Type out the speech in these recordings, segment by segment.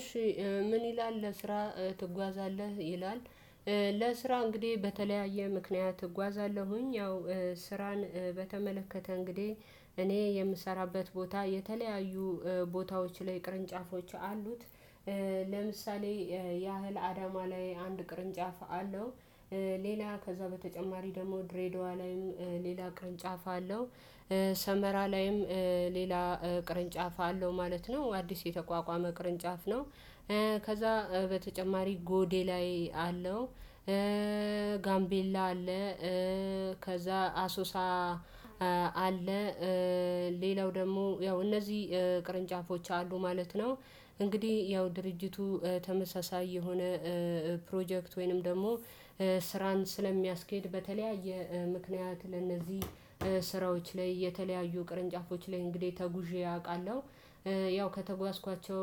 እሺ ምን ይላል ለስራ ትጓዛለህ ይላል? ለስራ እንግዲህ በተለያየ ምክንያት እጓዛለሁኝ ያው ስራን በተመለከተ እንግዲህ እኔ የምሰራበት ቦታ የተለያዩ ቦታዎች ላይ ቅርንጫፎች አሉት። ለምሳሌ ያህል አዳማ ላይ አንድ ቅርንጫፍ አለው። ሌላ ከዛ በተጨማሪ ደግሞ ድሬዳዋ ላይም ሌላ ቅርንጫፍ አለው። ሰመራ ላይም ሌላ ቅርንጫፍ አለው ማለት ነው አዲስ የተቋቋመ ቅርንጫፍ ነው። ከዛ በተጨማሪ ጎዴ ላይ አለው። ጋምቤላ አለ። ከዛ አሶሳ አለ። ሌላው ደግሞ ያው እነዚህ ቅርንጫፎች አሉ ማለት ነው። እንግዲህ ያው ድርጅቱ ተመሳሳይ የሆነ ፕሮጀክት ወይንም ደግሞ ስራን ስለሚያስኬድ በተለያየ ምክንያት ለእነዚህ ስራዎች ላይ የተለያዩ ቅርንጫፎች ላይ እንግዲህ ተጉዤ አውቃለሁ። ያው ከተጓዝኳቸው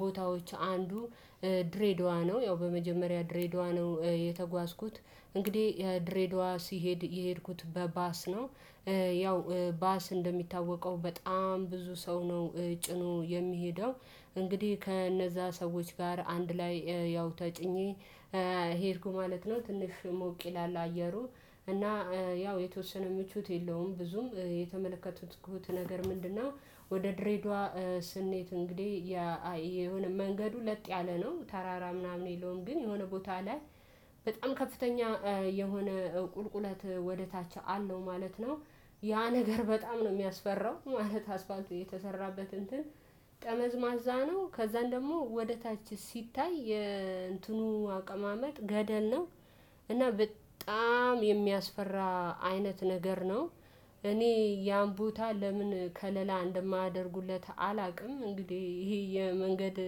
ቦታዎች አንዱ ድሬዳዋ ነው። ያው በመጀመሪያ ድሬዳዋ ነው የተጓዝኩት እንግዲህ ድሬዳዋ ሲሄድ የሄድኩት በባስ ነው። ያው ባስ እንደሚታወቀው በጣም ብዙ ሰው ነው ጭኖ የሚሄደው። እንግዲህ ከነዛ ሰዎች ጋር አንድ ላይ ያው ተጭኜ ማለት ነው። ትንሽ ሞቅ ይላል አየሩ እና ያው የተወሰነ ምቹት የለውም ብዙም የተመለከቱት ነገር ምንድነው? ወደ ድሬዳዋ ስኔሄድ እንግዲህ የሆነ መንገዱ ለጥ ያለ ነው ተራራ ምናምን የለውም። ግን የሆነ ቦታ ላይ በጣም ከፍተኛ የሆነ ቁልቁለት ወደ ታች አለው ማለት ነው። ያ ነገር በጣም ነው ሚያስፈራው ማለት አስፋልት የተሰራበት እንትን ጠመዝማዛ ነው። ከዛን ደግሞ ወደ ታች ሲታይ የእንትኑ አቀማመጥ ገደል ነው። እና በጣም የሚያስፈራ አይነት ነገር ነው። እኔ ያን ቦታ ለምን ከለላ እንደማደርጉለት አላውቅም። እንግዲህ ይሄ የመንገድ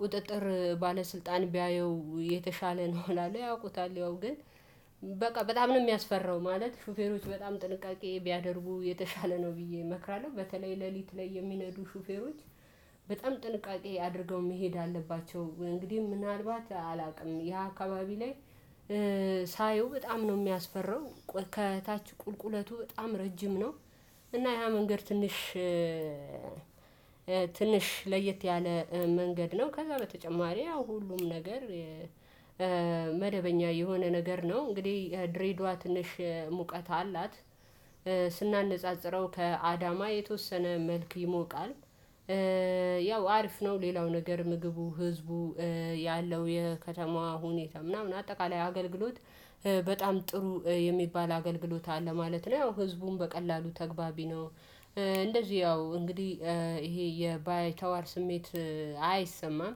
ቁጥጥር ባለስልጣን ቢያየው የተሻለ ነው እላለሁ። ያውቁታል ያው ግን በቃ በጣም ነው ሚያስፈራው። ማለት ሹፌሮች በጣም ጥንቃቄ ቢያደርቡ የተሻለ ነው ብዬ እመክራለሁ። በተለይ ሌሊት ላይ የሚነዱ ሹፌሮች በጣም ጥንቃቄ አድርገው መሄድ አለባቸው። እንግዲህ ምናልባት አላውቅም ያ አካባቢ ላይ ሳየው በጣም ነው የሚያስፈራው። ከታች ቁልቁለቱ በጣም ረጅም ነው። እና ያ መንገድ ትንሽ ትንሽ ለየት ያለ መንገድ ነው። ከዛ በተጨማሪ ያው ሁሉም ነገር መደበኛ የሆነ ነገር ነው። እንግዲህ ድሬድዋ ትንሽ ሙቀት አላት። ስናነጻጽረው ከአዳማ የተወሰነ መልክ ይሞቃል። ያው አሪፍ ነው። ሌላው ነገር ምግቡ ህዝቡ ያለው የከተማዋ ሁኔታ ምናምን አጠቃላይ አገልግሎት በጣም ጥሩ የሚባል አገልግሎት አለ ማለት ነው። ያው ህዝቡን በቀላሉ ተገባቢ ነው። እንደዚህ ያው እንግዲህ ይሄ የባይተዋር ስሜት አይሰማም።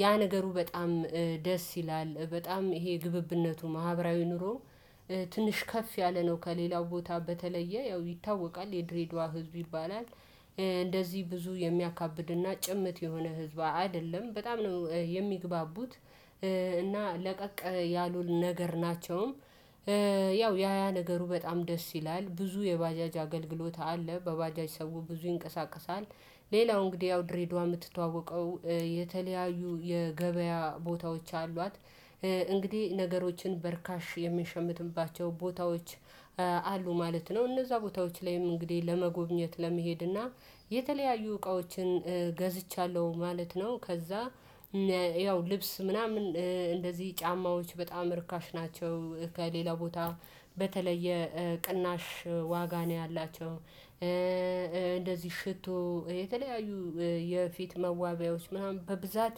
ያ ነገሩ በጣም ደስ ይላል በጣም ይሄ ግብብነቱ ማህበራዊ ኑሮ ትንሽ ከፍ ያለ ነው። ከሌላው ቦታ በተለየ ያው ይታወቃል የድሬዳዋ ህዝብ ይባላል። እንደዚህ ብዙ የሚያካብድና ጭምት የሆነ ህዝብ አይደለም በጣም ነው የሚግባቡት። እና ለቀቅ ያሉል ነገር ናቸውም። ያው ያ ያ ነገሩ በጣም ደስ ይላል ብዙ የባጃጅ አገልግሎት አለ በባጃጅ ሰው ብዙ ይንቀሳቀሳል። ሌላው እንግዲህ ያው ድሬዳዋ የምትተዋወቀው የተለያዩ የገበያ ቦታዎች አሏት። እንግዲህ ነገሮችን በርካሽ የምንሸምትባቸው ቦታዎች አሉ ማለት ነው። እነዛ ቦታዎች ላይም እንግዲህ ለመጎብኘት ለመሄድ እና የተለያዩ እቃዎችን ገዝቻለሁ ማለት ነው። ከዛ ያው ልብስ ምናምን እንደዚህ ጫማዎች በጣም ርካሽ ናቸው። ከሌላ ቦታ በተለየ ቅናሽ ዋጋ ነው ያላቸው። እንደዚህ ሽቶ የተለያዩ የፊት መዋቢያዎች ምናምን በብዛት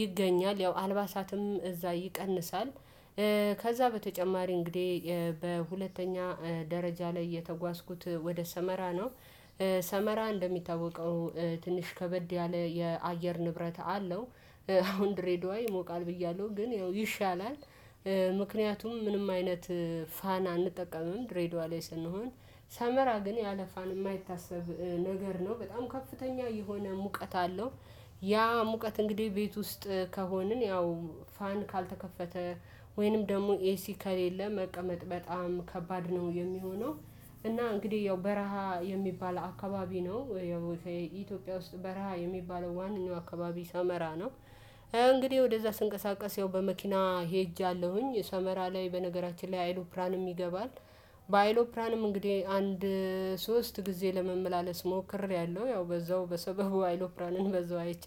ይገኛል። ያው አልባሳትም እዛ ይቀንሳል። ከዛ በተጨማሪ እንግዲህ በሁለተኛ ደረጃ ላይ የተጓዝኩት ወደ ሰመራ ነው። ሰመራ እንደሚታወቀው ትንሽ ከበድ ያለ የአየር ንብረት አለው። አሁን ድሬዳዋ ይሞቃል ብያለሁ ግን ያው ይሻላል። ምክንያቱም ምንም አይነት ፋን አንጠቀምም ሬድዋ ላይ ስንሆን ሳመራ ግን ያለፋን የማይታሰብ ነገር ነው በጣም ከፍተኛ የሆነ ሙቀት አለው። ያ ሙቀት እንግዲህ ቤት ውስጥ ከሆንን ያው ፋን ካልተከፈተ ወይንም ደግሞ ኤሲ ከሌለ መቀመጥ በጣም ከባድ ነው የሚሆነው። እና እንግዲህ ያው በረሃ የሚባል አካባቢ ነው። ያው ኢትዮጵያ ውስጥ በረሃ የሚባለው ዋናው አካባቢ ሳመራ ነው። እንግዲህ ወደዛ ስንቀሳቀስ ያው በመኪና ሄጃለሁኝ የሰመራ ላይ በነገራችን ላይ አይሎፕራንም ይገባል። በአይሎፕራንም እንግዲህ አንድ ሶስት ጊዜ ለመመላለስ ሞክሬያለሁ ያው በዛው በሰበቡ አይሎፕራንን በዛው አይቻለሁ